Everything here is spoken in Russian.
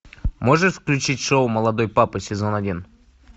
можешь включить шоу молодой папа сезон один